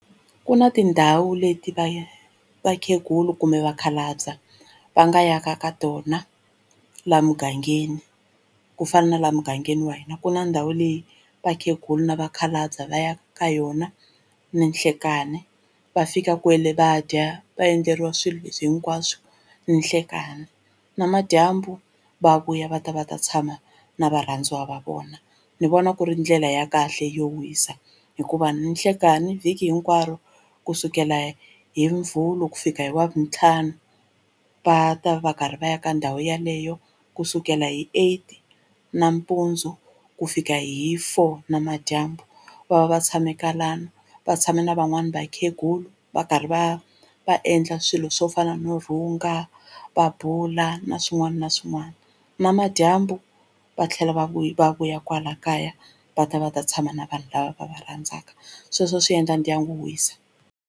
Ku na tindhawu leti va vakhegula kumbe vakhalabya va nga ya ka ka tona laha mugangeni ku fana na laha mugangeni wa hina ku na ndhawu leyi vakhegula ni vakhalabya va yaka ka yona ninhlekani va fika kwale va dya va endleriwa swilo leswi hinkwaswo ninhlekani namadyambu va vuya va ta va ta tshama na varhandziwa va vona. Ni vona ku ri ndlela ya kahle yo wisa hikuva ninhlekani vhiki hinkwaro kusukela hi muvhulu ku fika hi wavuntlhanu va ta va karhi va ya ka ndhawu yeleyo kusukela hi eight nampundzu ku fika hi four namadyambu va va va tshame kwalano va tshame na van'wani vakhegula va karhi va va endla swilo c swo fana no rhunga va bula na swin'wana na swin'wana namadyambu va tlhela va vuya va vuya kwala kaya va ta va ta tshama na vanhu lava va va rhandzaka sweswo swi endla ndyangu wisa.